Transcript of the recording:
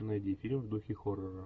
найди фильм в духе хоррора